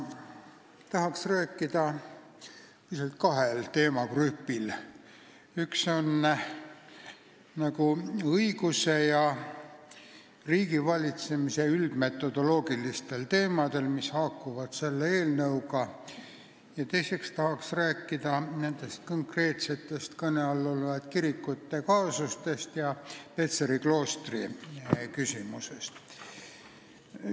Ma tahaks rääkida teemadest, mida saab jagada kahte gruppi: esiteks, õiguse ja riigivalitsemise üldmetodoloogilistest teemadest, mis haakuvad selle eelnõuga, ja teiseks tahaks rääkida nendest konkreetsetest kõne all olevatest kirikute kaasustest ja Petseri kloostri küsimusest.